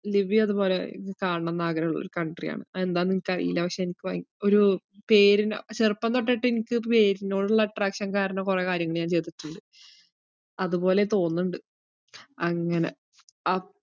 Libya അതുപോലെ കാണണന്ന് ആഗ്രഹോള്ളൊരു country യാണ് അതെന്താന്ന് എനിക്കറിയില്ല പക്ഷേ എനിക്ക് വൈ~ ഒരു പേരിന് ചെറുപ്പം തൊട്ടിട്ടെനിക്കത് പേരിനോടുള്ള attraction കാരണം കൊറേ കാര്യങ്ങൾ ഞാൻ ചെയ്തിട്ട്ണ്ട് അതുപോലെ തോന്നുന്നിണ്ട്, അങ്ങനെ അപ്~